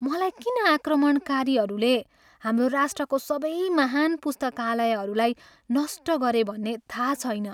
मलाई किन आक्रमणकारीहरूले हाम्रो राष्ट्रको सबै महान पुस्तकालयहरूलाई नष्ट गरे भन्ने थाहा छैन।